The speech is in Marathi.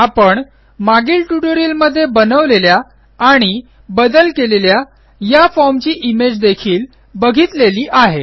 आपण मागील ट्युटोरियलमध्ये बनवलेल्या आणि बदल केलेल्या या formची इमेज देखील बघितलेली आहे